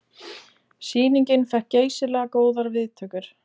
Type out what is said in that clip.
Sýningin fékk geysilega góðar viðtökur